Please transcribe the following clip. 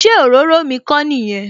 Ṣé òróró mi kò nìyẹn?